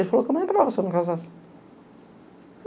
Ele falou que eu não entrava se eu não casasse.